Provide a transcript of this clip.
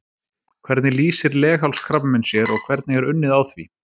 Hvernig lýsir leghálskrabbamein sér og hvernig er unnið á því?